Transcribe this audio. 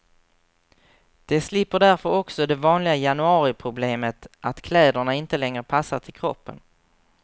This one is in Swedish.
De slipper därför också det vanliga januariproblemet att kläderna inte längre passar till kroppen.